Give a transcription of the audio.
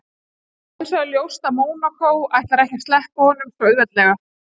Það hinsvegar ljóst að Mónakó ætlar ekki að sleppa honum svo auðveldlega.